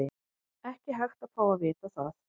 Er hægt að fá að vita það?